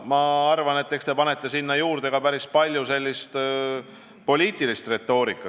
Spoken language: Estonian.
Ma arvan, et te panete sinna juurde ka päris palju poliitilist retoorikat.